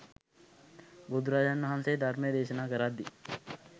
බුදුරජාණන්වහන්සේ ධර්මය දේශනා කරද්දී